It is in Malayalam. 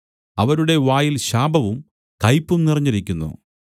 അവരുടെ വായിൽ ശാപവും കയ്പും നിറഞ്ഞിരിക്കുന്നു